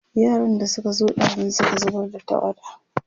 yaran da Suka zo ɗazun Suka zubar da tawada